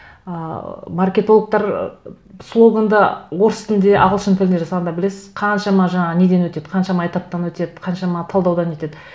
ыыы маркетологтар слоганды орыс тілінде ағылшын тілінде жасағанда білесіз қаншама жаңа неден өтеді қаншама этаптан өтеді қаншама талдаудан өтеді